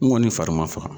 N kɔni fari ma faga